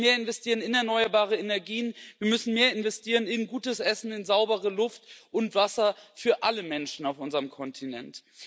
Wir müssen mehr investieren in erneuerbare Energien, wir müssen mehr investieren in gutes Essen, in saubere Luft und in Wasser für alle Menschen auf unserem Kontinent.